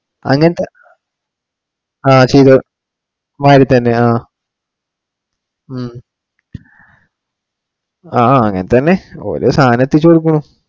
അങ്ങിനത്തെ ആഹ് ശരിയാ മാതിരി തന്നെ ആ ഹും ആ അങ്ങിനെ തന്നെ ഓരോ സാധനം എത്തിച്ചു കൊടുക്കുണു.